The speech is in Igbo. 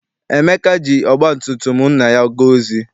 Emeka ji ọgba tum tum nna ya gaa ozi.